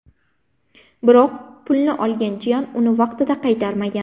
Biroq pulni olgan jiyan uni vaqtida qaytarmagan.